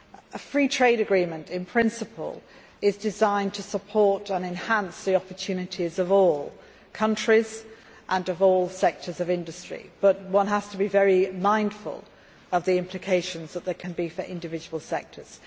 A free trade agreement in principle is designed to support and enhance the opportunities of all countries and of all sectors of industry, but one has to be very mindful of the implications that there can be for individual sectors.